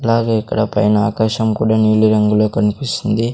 అలాగే ఇక్కడ పైన ఆకాశం కూడా నీలి రంగులో కన్పిస్సుంది.